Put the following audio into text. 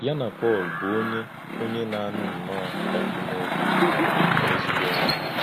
Yà na Pọ́l, bụ́ onye onye na-anụ̀ nnọọ́ òkù n’òbì, bụ ezigbo enyi.